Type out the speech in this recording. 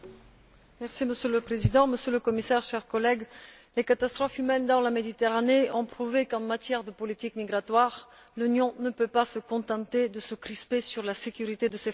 Monsieur le Président, Monsieur le Commissaire, chers collègues, les catastrophes humaines en mer Méditerranée ont prouvé qu'en matière de politique migratoire, l'Union ne peut pas se contenter de se crisper sur la sécurité de ses frontières.